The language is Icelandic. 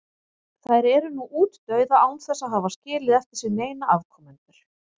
Þær eru nú útdauða án þess að hafa skilið eftir sig neina afkomendur.